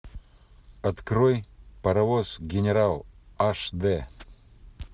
открой паровоз генерал аш д